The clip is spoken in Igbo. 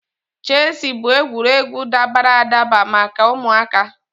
Chesị bụ egwuregwu dabara adaba maka ụmụaka.